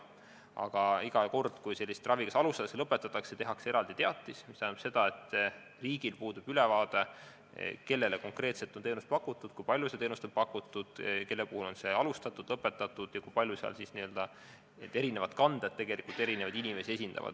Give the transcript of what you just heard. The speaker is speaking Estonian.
Aga iga kord, kui sellist ravi kas alustatakse või see lõpetatakse, tehakse eraldi teatis, mis tähendab, et riigil puudub ülevaade, kellele konkreetselt on teenust pakutud, kui palju seda teenust on pakutud, kelle puhul on see alustatud või lõpetatud ja kui paljud kanded esindavad tegelikult eri inimesi.